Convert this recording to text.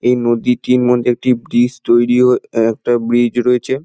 এই নদীটির মধ্যে একটি ব্রিজ তৈরী হয়ে একটা ব্রিজ রয়েছে।